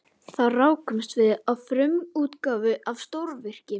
Þar rákumst við á frumútgáfuna af stórvirki